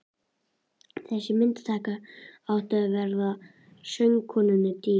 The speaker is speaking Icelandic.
Þessi myndataka átti eftir að verða söngkonunni dýr.